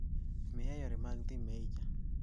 miya yore mag dhi Meijer